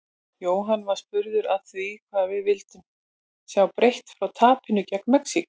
Jóhann var spurður að því hvað við vildum sjá breytt frá tapinu gegn Mexíkó?